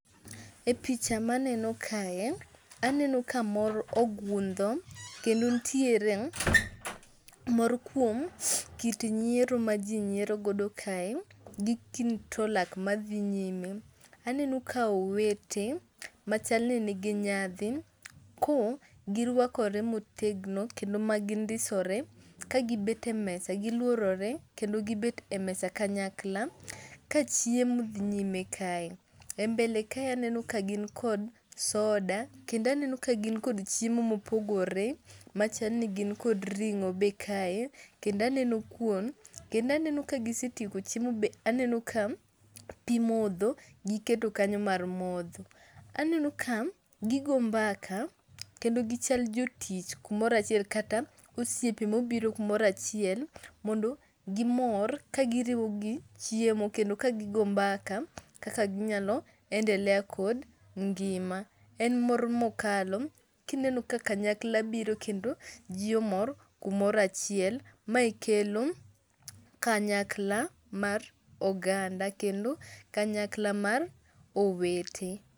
E picha ma aneno kae, aneno ka mor ogundho kendo nitiere mor kuom kit nyiero ma ji nyiero godo kae. Gi kit to lak ma dhi nyime. Aneno ka owete, ma chalni nigi nyadhi ko girwakore motegno. Kendo ma gindisore, ka gibet e mesa, gilworore, kendo gibet e mesa kanyakla. Ka chiemo dhi nyime kae. E mbele kae aneno ka gin kod soda. Kendo aneno ka gin kod chiemo ma opogore, machalni gin kod ring'o be kae. Kendo aneno kuon. Kendo aneno ka gisetieko chiemo be aneno ka pi modho giketo kanyo mar modho. Aneno ka gigo mbaka, kendo gichal jo tich kumoro achiel, kata osiepe ma obiro kumoro achiel mondo gimor ka giriwo gi chiemo kendo ka gi goyo mbaka, kaka ginyalo endelea kod ngima. En mor mokalo, kineno ka kanyakla biro, kendo ji omor kumoro achiel. Mae kelo kanyakla mar oganda, kendo kanyakla mar owete.